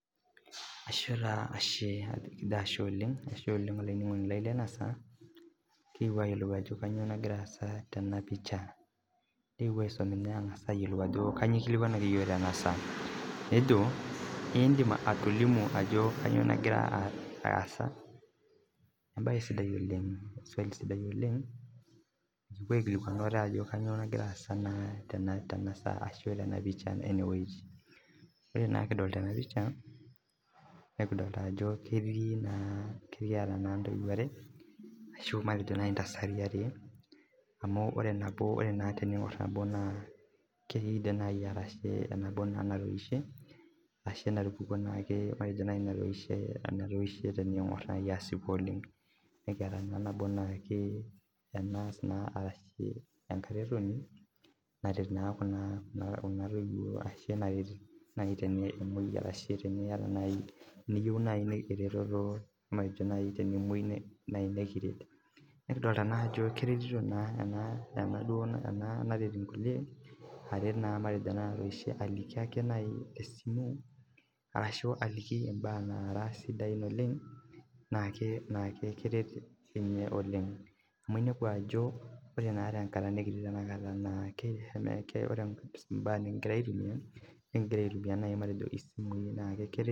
Ashe taa ashe, kijo ashe oleng' olainining'oni lai lena saa kekipuo aayoluo ajo kanyio nagira aasa tena picha, keikipuo aisum ninye ang'asa ayoluo ajo kanuio ekilikuanaki iyook tena saa nejo iidim atolimu ajo kanyio nagira aasa embae sidai oleng' swali sidai oleng' nikipuo aaikilikwan ate ajo kanyio nagira aendelea naa tena saa ashu tena picha ene weji ore naa kidolita ena picha nikidolita ajo ketii naa kekiyata naa intoiwo are ashuu intasati are amuu ore nabo ore naa teniing'or nabo naa keidim naai arashe naai nabo natoishe ashe natupukuo naake matejo naai natoishe amu etoishe teniing'or nai asipu oleng' nikiata nabo naake enas arashu enkaretoni naret naa kuna kuna toye ashu enaret nai tenemoi arashu teniyata teniyeu nai ereteto matejo nai tenemoyu naai nikiret nikidolita naajo keretito naa ena enaduo ena naret inkuliek aret naa ena natoishe aliki ake nai tesimu arashu aliki imbaa nara sidain oleng' naake naa keret inye oleng' ,amu inepu ajo ore naa tenakata nikitii tenakata naake neeku ore imbaa nikigira aitumia nikigira aitumia matejo isimui naake naa keret iyok oleng'